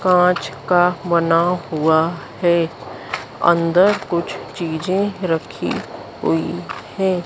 कांच का बना हुआ है अंदर कुछ चीजें रखी हुई हैं।